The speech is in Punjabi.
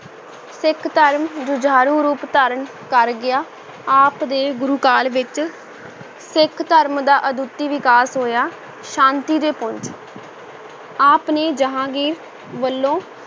ਸਿੱਖ ਧਰਮ ਜੁਝਾਰੂ ਰੂਪ ਧਾਰਨ ਕਰ ਗਿਆ, ਆਪ ਦੇ ਗੁਰੂ ਕਾਲ ਵਿੱਚ ਸਿੱਖ ਧਰਮ ਦਾ ਅਦੁੱਤੀ ਵਿਕਾਸ ਹੋਇਆ ਸ਼ਾਂਤੀ ਦੇ ਪੁੰਜ ਆਪ ਨੇ ਜਹਾਂਗੀਰ ਵੱਲੋਂ